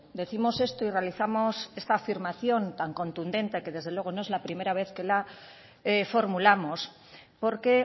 decimos esto y realizamos esta afirmación tan contundente que desde luego no es la primera vez que la formulamos porque